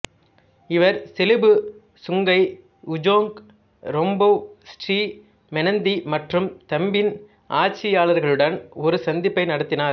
இவர் செலுபு Sungai Ujong Rembau Sri Menanti மற்றும் தம்பின் ஆட்சியாளர்களுடன் ஒரு சந்திப்பை நடத்தினார்